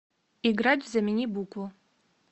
играть в замени букву